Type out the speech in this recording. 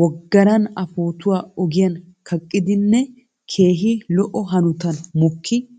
woggaran a pootuwaa ogiyan kaqqidinne keehi lo'o hanotan mokki ekkidosona.